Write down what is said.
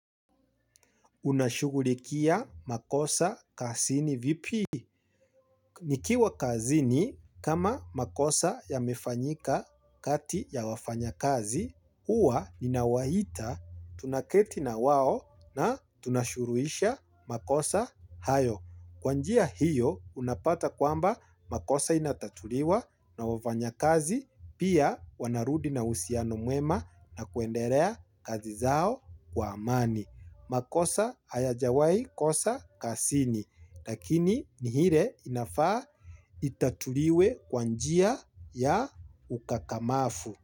Unashughulikia makosa kazini vipi. Nikiwa kazini kama makosa yamefanyika kati ya wafanyakazi, huwa ninawaita tunaketi na wao na tunashuruisha makosa hayo. Kwa njia hiyo unapata kwamba makosa inatatuliwa na wafanyakazi pia wanarudi na uhusiano mwema na kuendelea kazi zao kwa amani. Makosa hayajawaikosa kazini lakini ni ile inafaa itatuliwe kwa njia ya ukakamavu.